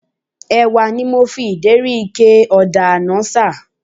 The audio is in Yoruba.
Ẹ̀wà ni mo fi ìdérí ike ọ̀dà àná ṣà